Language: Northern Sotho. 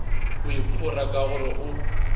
o iphora ka gore o